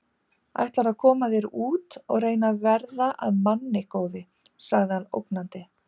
Ætlarðu að koma þér út og reyna að verða að manni, góði! sagði hann ógnandi.